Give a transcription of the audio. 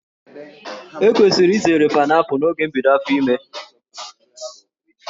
E kwesịrị izere paịnaịpụlụ n'oge mbido áfò ìmè.